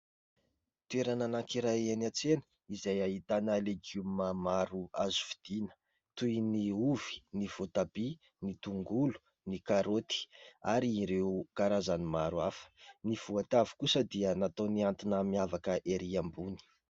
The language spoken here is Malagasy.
Toerana anankiray eny an-tsena izay ahitana legioma maro azo fidiana, toy ny ovy ny voatabia ny tongolo ny karaoty ary ireo karazany maro hafa ; ny voatavo kosa dia natao mihantona miavaka erỳ ambony.